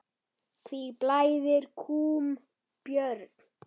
Hví blæðir kúm, Björn?